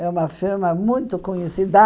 É uma firma muito conhecida.